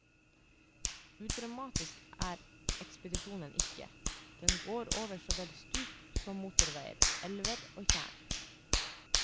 Udramatisk er ekspedisjonen ikke, den går over så vel stup som motorveier, elver og tjern.